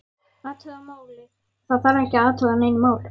Athuga málið, það þarf ekki að athuga nein mál